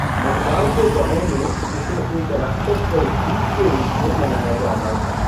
मलबार के गाँवों में, इसे एक राक्षस पर जीत के रूप में मनाया जाता था।